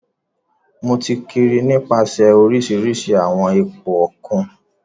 Mo ti kiri nipasẹ orisirisi awọn ipo okun.